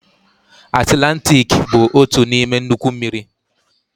Atilantiki bụ otu n'ime nnukwu mmiri.